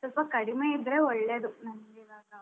ಸ್ವಲ್ಪ ಕಡಿಮೆ ಇದ್ರೆ ಒಳ್ಳೇದು ನನ್ಗೆ ಇವಾಗ.